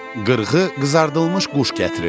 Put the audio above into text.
Qırğı qızardılmış quş gətirirdi.